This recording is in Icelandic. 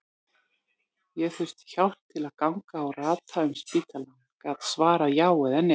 Ég þurfti hjálp til að ganga og rata um spítalann, gat svarað já eða nei.